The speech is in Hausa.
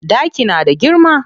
Ɗaki na da girma.